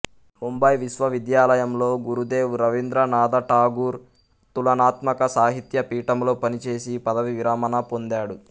ముంబై విశ్వవిద్యాలయంలో గురుదేవ్ రవీంద్రనాథ ఠాగూర్ తులనాత్మక సాహిత్య పీఠంలో పనిచేసి పదవీ విరమణ పొందాడు